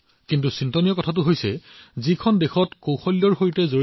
কিন্তু দাসত্বৰ দীঘলীয়া সময়ছোৱাত দক্ষতাৰ প্ৰতি এনে সন্মানৰ ভাৱ লাহে লাহে নাইকিয়া হৈ গল